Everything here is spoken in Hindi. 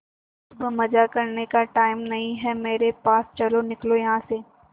सुबह सुबह मजाक करने का टाइम नहीं है मेरे पास चलो निकलो यहां से